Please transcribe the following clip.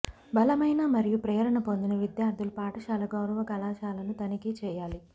బలమైన మరియు ప్రేరణ పొందిన విద్యార్ధులు పాఠశాల గౌరవ కళాశాలను తనిఖీ చేయాలి